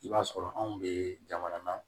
I b'a sɔrɔ anw bɛ jamana na